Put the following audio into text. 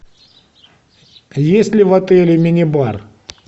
есть ли в отеле мини бар